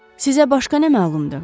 Sizə başqa nə məlumdur?